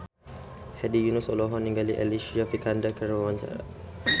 Hedi Yunus olohok ningali Alicia Vikander keur diwawancara